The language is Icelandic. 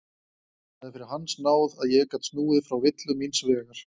Það er fyrir hans náð að ég gat snúið frá villu míns vegar.